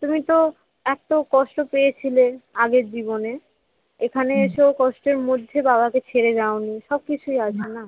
তুমি তো এত কষ্ট পেয়েছিলে আগের জীবনে, এখানে এসেও কষ্টের মধ্যে বাবাকে ছেড়ে যাওনি সবকিছুই আছো না